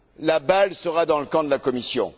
la balle sera dans le camp de la Commission.